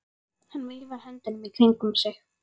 Hann veifar höndunum í kringum sig.